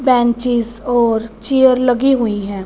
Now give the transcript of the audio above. Benches और chair लगी हुई है।